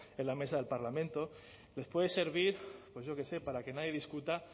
en la mesa del parlamento les puede servir pues yo qué sé para que nadie discuta